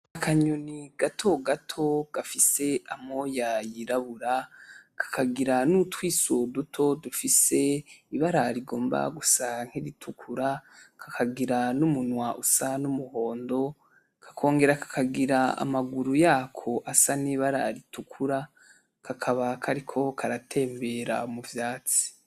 Akanyoni gato gato gafise amoya yirabura kakagira nutwiso duto dufise ibara rigomba gusa nk'iritukura kakagira n'umunwa usa n'umuhondo kakongera kakagira amaguru yakoasa n'ibara ritukura kakaba kariko karatembera muvyatsi.